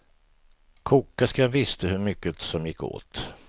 Kokerskan visste hur mycket som gick åt.